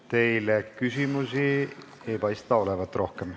Teile ei paista rohkem küsimusi olevat.